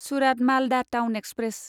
Surat Malda town express